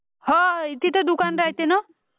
होय तिथं दुकान राह्यत्ये ना